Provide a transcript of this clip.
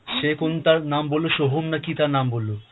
সে কোন তার নাম বললো সোহম না কী তার নাম বললো।